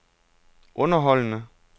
underholdende